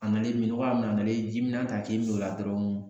A nalen minnɔgɔ y'a minɛ analen ji mina ta k'i mi o la dɔrɔn